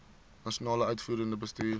nasionale uitvoerende bestuur